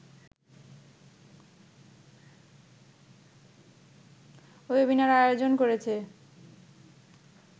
webinar আয়োজন করেছে